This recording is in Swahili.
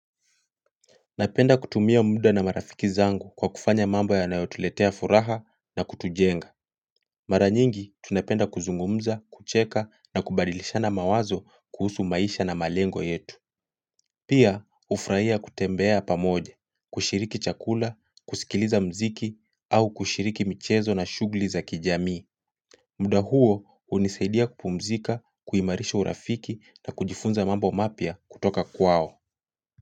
Napenda kutumia muda na marafiki zangu kwa kufanya mambo yanayotuletea furaha na kutujenga. Mara nyingi tunapenda kuzungumza, kucheka na kubadilishana mawazo kuhusu maisha na malengo yetu. Pia, hufurahia kutembea pamoja, kushiriki chakula, kusikiliza mziki au kushiriki michezo na shughuli za kijamii. Muda huo hunisaidia kupumzika, kuimarisha urafiki na kujifunza mambo mapya kutoka kwao.